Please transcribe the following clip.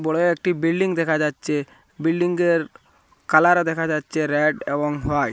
বড় একটি বিল্ডিং দেখা যাচ্ছে বিল্ডিংয়ের কালার দেখা যাচ্ছে র্যাড এবং হোয়াইট ।